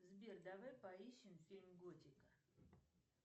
сбер давай поищем фильм готика